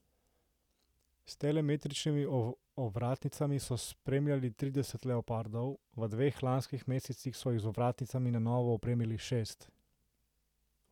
S telemetričnimi ovratnicami so spremljali trideset leopardov, v dveh lanskih mesecih so jih z ovratnicami na novo opremili šest.